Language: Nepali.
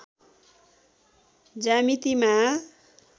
ज्यामितिमा